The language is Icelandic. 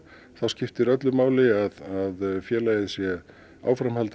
skiptir öllu máli að félagið sé áfram